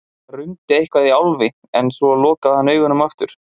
Það rumdi eitthvað í Álfi en svo lokaði hann augunum aftur.